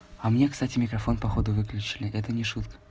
а мне кстати микрофон походу выключили это не шутка